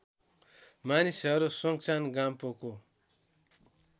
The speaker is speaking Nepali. मानिसहरू सोङचान गाम्पोको